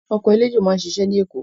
Ọkọ̀ eléjò máá ń ṣiṣẹ́ ní Èkó